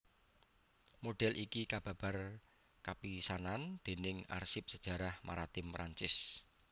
Modhél iki kababar kapisanan dèning arsip sajarah maritim Prancis